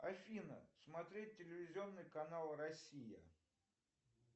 афина смотреть телевизионный канал россия